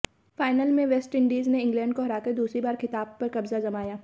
final में West Indies ने England को हराकर दूसरी बार खिताब पर कब्जा जमाया